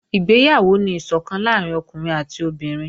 Ìgbéyàwó ni ìsọ̀kan láàrín ọkùnrin àti obìnrin